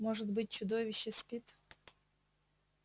может быть чудовище спит